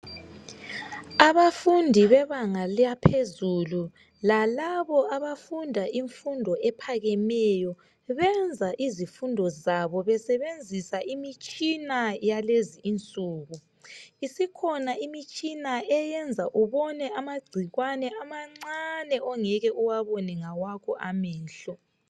Abafundi bebanga laphezulu lalabo abafunda imfundo ephakemeyo benza izifundo zabo besebenzisa imitshina yakulezinsuku. Isikhona imitshina eyenza ubone amagcikwane amancane ongeke uwabone ngawakho amehlo .